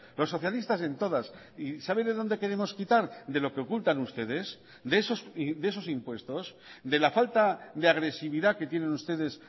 los socialistas en todas y sabe de dónde queremos quitar de lo que ocultan ustedes de esos impuestos de la falta de agresividad que tienen ustedes